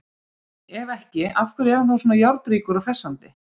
Ef ekki, af hverju er hann þá svona járnríkur og hressandi?